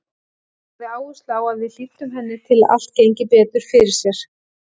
Hún lagði áherslu á að við hlýddum henni til að allt gengi betur fyrir sig.